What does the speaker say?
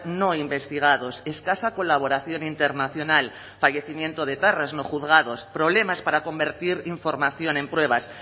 no investigados escasa colaboración internacional fallecimiento de etarras no juzgados problemas para convertir información en pruebas